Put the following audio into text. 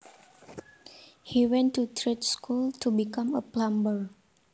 He went to trade school to become a plumber